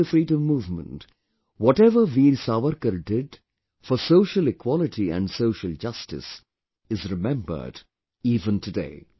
Not only the freedom movement, whatever Veer Savarkar did for social equality and social justice is remembered even today